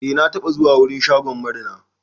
Eh na taɓa zuwa wurin shagon marina.